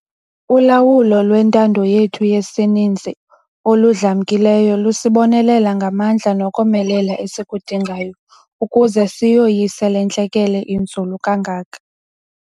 Ulawulo lwentando yethu yesininzi oludlamkileyo lusibonelela ngamandla nokomelela esikudingayo ukuze siyoyise le ntlekele inzulu kangaka.